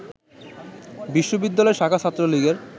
বিশ্ববিদ্যালয় শাখা ছাত্রলীগের